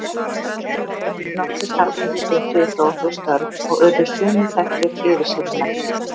nokkrir karlmenn stunduðu þó þau störf og urðu sumir þekktir yfirsetumenn